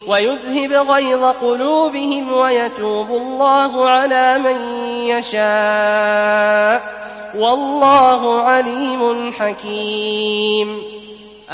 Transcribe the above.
وَيُذْهِبْ غَيْظَ قُلُوبِهِمْ ۗ وَيَتُوبُ اللَّهُ عَلَىٰ مَن يَشَاءُ ۗ وَاللَّهُ عَلِيمٌ حَكِيمٌ